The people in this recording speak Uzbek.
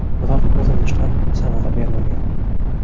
Biroq urinishlar samara bermagan.